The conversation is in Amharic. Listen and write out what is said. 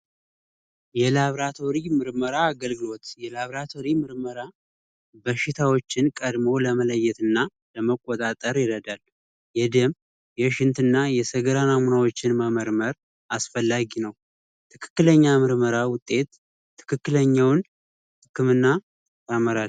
የላብላቶሪ ምርመራ አገልግሎቶች የላብላቶሪ ምርመራ በሽታን ቀርቦ ለመለየትና ለመቆጣጠር ይረዳል። የደም የሽንትና የሰገራ ናሙናዎችን መመርመር አስፈላጊ ነው። ትክክለኛ የምርመራ ውጤት ትክክለኛውን ህክምና ያመራል።